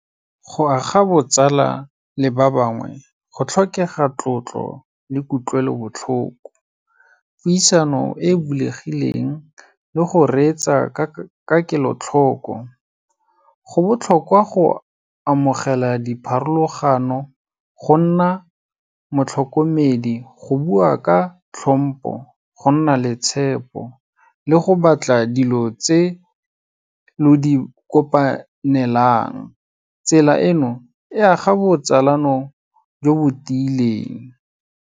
Go aga botsala le ba bangwe, go tlhokega tlotlo le kutlwelobotlhoko, puisano e bulegileng le go reetsa ka kelotlhoko. Go botlhokwa go amogela dipharologano, go nna motlhokomedi, go bua ka tlhompo, go nna le tshepo le go batla dilo tse lo di kopanelang. Tsela eno e aga botsalano jo bo tiileng.